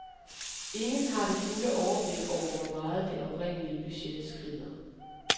Ingen har det fulde overblik over, hvor meget det oprindelige budget skrider.